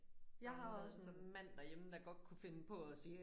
Jeg har også en mand der hjemme der godt kunne finde på at sige